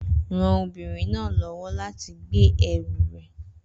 Ran obìnrin náà lọ́wọ́ láti gbé ẹrù rẹ̀